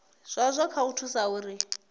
zwazwo kha u thusa uri